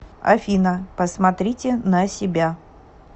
афина посмотрите на себя